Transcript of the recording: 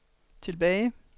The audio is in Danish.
tilbage